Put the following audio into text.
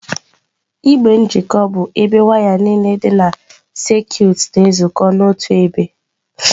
Igbe njikọ bụ ebe waya niile dị na sekit na-ezukọ n'otu ebe.